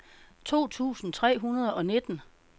to tusind tre hundrede og nitten